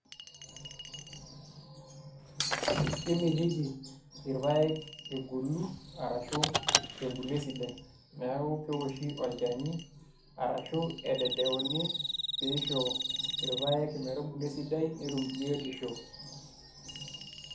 Kemitiki irpaek egolu arashu ebulu esidai neeku keoshi olchani arashu ededeuni pee isho irpaek metubulu esidai netum biotisho.